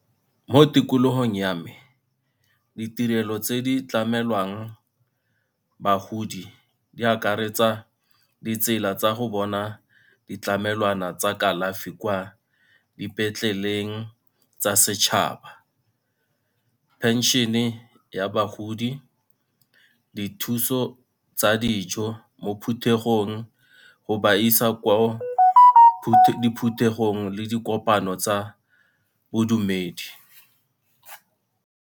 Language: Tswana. Mo tikologong ya me ditirelo tse di tlamelwang bagodi di akaretsa ditsela tsa go bona ditlamelwana tsa kalafi kwa dipetleleng tsa setšhaba, pension-e ya bagodi, dithuso tsa dijo mo phuthegong, go ba isa kwa diphuthegong le dikopano tsa bodumedi.